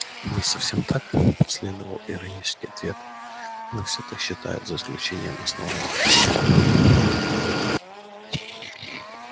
не совсем так последовал иронический ответ но все так считают за исключением основания конечно